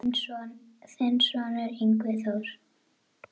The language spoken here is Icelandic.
Þinn sonur, Yngvi Þór.